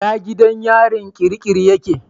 Ina gidan yarin kirikiri yake?